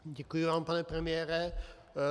Děkuji vám, pane premiére.